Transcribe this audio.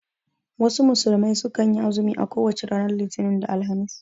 Wasu musulmai sukan yi azumi a kowace ranar Litinin da Alhamis